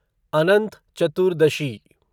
Anant Chaturdashi